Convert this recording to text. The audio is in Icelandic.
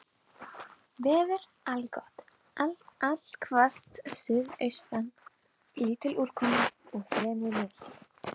Veður allgott allhvass suðaustan lítil úrkoma og fremur milt.